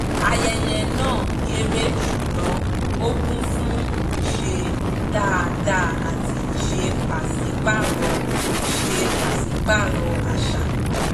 ayẹyẹ náà kéré ṣùgbọ́n ó kún fún ìṣe dáadáa àti ìṣe pàsípàrọ̀ ìṣe pàsípàrọ̀ àṣà